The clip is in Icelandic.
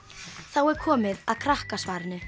þá er komið að Krakkasvarinu